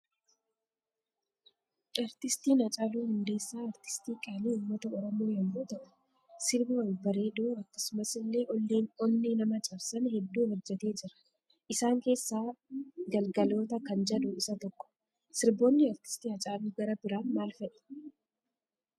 Aartistiin hacaaluuu hundeessaa aartistii qaali uummata oromoo yommuu ta'uu sirba babbareedoo akkasumas illee onne nama cabsan heddu hojjete Jira isaan kessa galgalooto kan jedhu isa tokko. sirboonni aartistii hacaalu gara biraan maal fa'i?